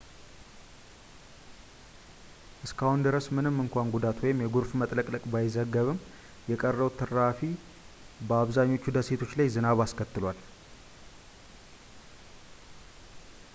እስካሁን ድረስ ምንም እንኳን ጉዳት ወይም የጎርፍ መጥለቅለቅ ባይዘገብም የቀረው ትራፊ በአብዛኞቹ ደሴቶች ላይ ዝናብ አስከትሏል